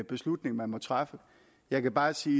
beslutning man må træffe jeg kan bare sige